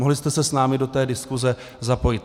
Mohli jste se s námi do té diskuse zapojit.